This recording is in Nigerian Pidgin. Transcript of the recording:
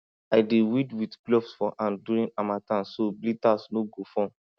i dey weed with gloves for hand during harmattan so blisters no go form